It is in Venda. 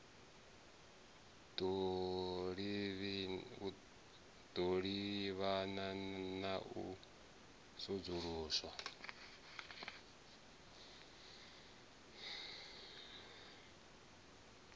ḓo livhana na u sudzuluswa